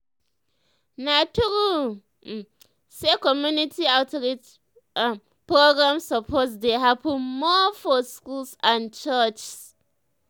na true um say community um outreach um programs suppose dey happen more for schools and churches.